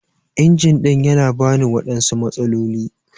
Injin ɗin yana bani waɗansu matsaloli.